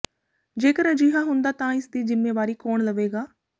ਜੇਕਰ ਅਜਿਹਾ ਹੁੰਦਾ ਹੈ ਤਾਂ ਇਸ ਦੀ ਜਿੰਮੇਵਾਰੀ ਕੌਣ ਲਵੇਗਾ